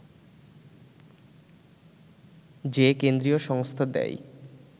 যে কেন্দ্রীয় সংস্থা দেয়